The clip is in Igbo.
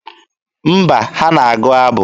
Mba, ha ga-agụ abụ.